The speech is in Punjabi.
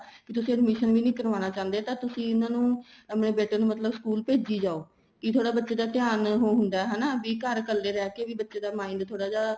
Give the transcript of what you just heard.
ਕੀ ਤੁਸੀਂ admission ਵੀ ਨਹੀਂ ਕਰਵਾਣਾ ਚਾਹੁੰਦੇ ਤਾਂ ਤੁਸੀਂ ਇਹਨਾ ਨੂੰ ਆਪਣੇ ਬੇਟੇ ਮਤਲਬ school ਭੇਜੀ ਜਾਹੋ ਕੀ ਥੋੜਾ ਬੱਚੇ ਦਾ ਧਿਆਨ ਉਹ ਹੁੰਦਾ ਹੈ ਹੈਨਾ ਵੀ ਘਰ ਇੱਕਲੇ ਰਹੇ ਵੀ mind ਬੱਚੇ ਦਾ mind ਥੋੜਾ ਜਾ